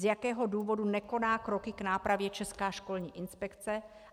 Z jakého důvodu nekoná kroky k nápravě Česká školní inspekce?